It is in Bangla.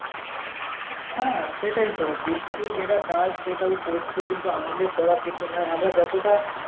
হ্যাঁ সেটাই তো বৃষ্টির যেটা কাজ সেটা ও করছে কিন্তু আমাদের করার কিছু নেই আমরা যতটা